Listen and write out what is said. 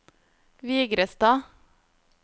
Vigrestad